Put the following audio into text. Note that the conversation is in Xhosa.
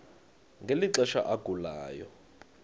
ngeli xesha agulayo